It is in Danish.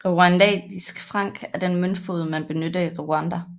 Rwandisk franc er den møntfod man benytter i Rwanda